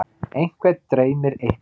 einhvern dreymir eitthvað